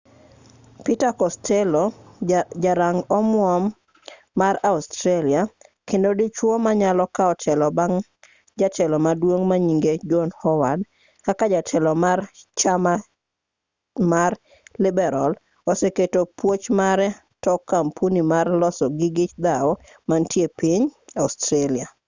peter costello ja rang omuom mar australia kendo dichuo manyalo kaw telo bang' jatelo maduong' manyinge john howard kaka jatelo mar chama mar liberal oseketo puoch mare tok kampuni mar loso gige dhawo mantie piny australia